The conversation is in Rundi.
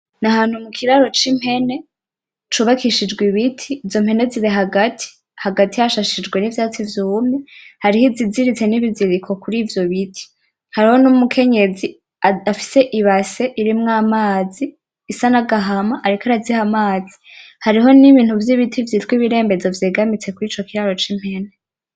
N,ahantu mukiraro c,impene cubakishijwe ibiti izo mpene ziri hagati hagati hashashijwe nivyatsi vyumye hariho iziziritse nibiziriko kuri ivyo biti hariho n,Umukenyezi afise ibasi irimwo amazi isa nagahama ariko araziha amazi hariko nibintu vyibiti vyitwa ibirembezo vyegamitse kuri ico kirari c,Impene .